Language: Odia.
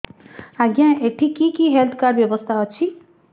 ଆଜ୍ଞା ଏଠି କି କି ହେଲ୍ଥ କାର୍ଡ ବ୍ୟବସ୍ଥା ଅଛି